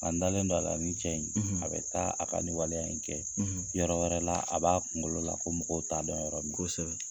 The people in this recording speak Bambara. An dalen don a la nin cɛ in a bɛ taa a ka ni waleya in kɛ yɔrɔ wɛrɛ la a b'a kunkolo la ko mɔgɔw t'a dɔn yɔrɔ min kosɛbɛ.